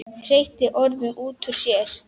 Hreytti orðunum út úr sér.